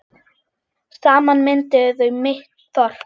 Saman mynduðu þau mitt þorp.